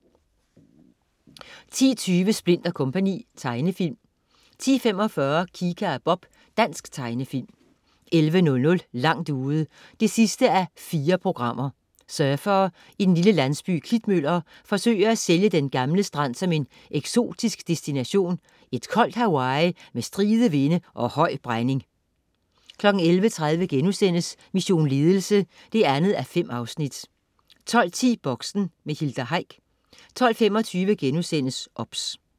10.20 Splint & Co. Tegnefilm 10.45 Kika og Bob. Dansk tegnefilm 11.00 Langt ude 4:4. Surfere i den lille landsby Klitmøller forsøger at sælge den gamle strand som en eksotisk destination, et koldt Hawaii med stride vinde og høj brænding 11.30 Mission Ledelse 2:5* 12.10 Boxen. Hilda Heick 12.25 OBS*